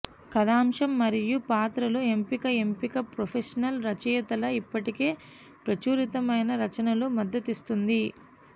కథాంశం మరియు పాత్రలు ఎంపిక ఎంపిక ప్రొఫెషనల్ రచయితల ఇప్పటికే ప్రచురితమైన రచనలు మద్దతిస్తుంది